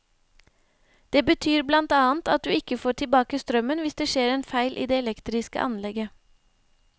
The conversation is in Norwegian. Det betyr blant annet at du ikke får tilbake strømmen hvis det skjer en feil i det elektriske anlegget.